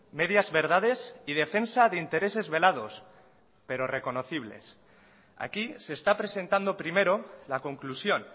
medias verdades y defensa de intereses velados pero reconocibles aquí se está presentando primero la conclusión